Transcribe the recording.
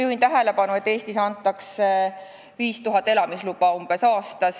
Juhin tähelepanu sellele, et Eestis antakse umbes 5000 elamisluba aastas.